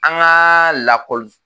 An ka lakɔli